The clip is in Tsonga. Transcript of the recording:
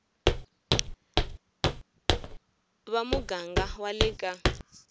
va muganga wa le ka